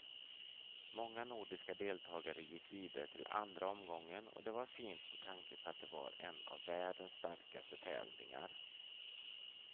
Många nordiska deltagare gick vidare till andra omgången och det var fint med tanke på att det var en av världens starkaste tävlingar.